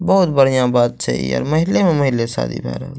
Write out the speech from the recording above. बहुत बढ़िया बात छे इ अर महिले में महिले शादी भय रहल।